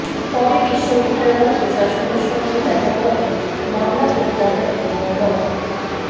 পরে বিশ্ববিদ্যালয় প্রশাসনের সঙ্গে দেখা করে মামলা প্রত্যাহার এবং ড